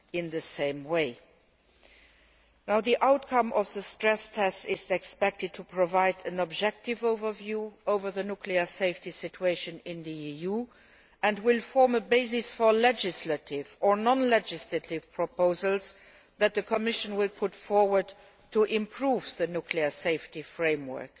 The outcome of the stress tests is expected to provide an objective overview of the nuclear safety situation in the EU, and will form a basis for legislative or non legislative proposals that the Commission will bring forward to improve the nuclear safety framework.